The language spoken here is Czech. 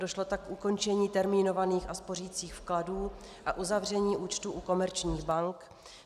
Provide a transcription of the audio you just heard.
Došlo tak k ukončení termínovaných a spořicích vkladů a uzavření účtů u komerčních bank.